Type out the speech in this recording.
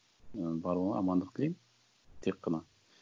ы барлығына амандық тілеймін тек қана